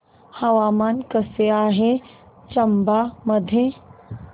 हवामान कसे आहे चंबा मध्ये